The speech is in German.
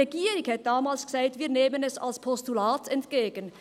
Die Regierung sagte damals: «Wir nehmen es als Postulat entgegen».